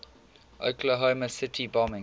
oklahoma city bombing